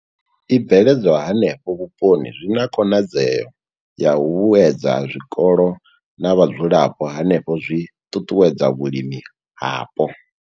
I bveledzwa hanefho vhuponi zwi na khonadzeo ya u vhuedza zwikolo na vhadzulapo hanefho zwi ṱuṱuwedza vhulimi hapo.